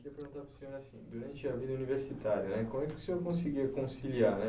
Eu queria perguntar para o senhor assim, durante a vida universitária, né? Como é que o senhor conseguia conciliar, né?